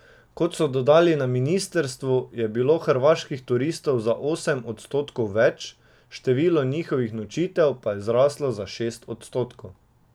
Kot so dodali na ministrstvu, je bilo hrvaških turistov za osem odstotkov več, število njihovih nočitev pa je zraslo za šest odstotkov.